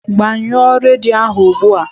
Gbanyụọ redio ahu ụgbụa!